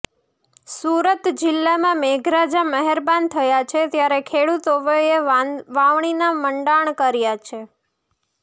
સુરત જિલ્લામાં મેઘરાજા મહેરબાન થયા છે ત્યારે ખેડૂતોએ વાવણીના મંડાણ કર્યા છે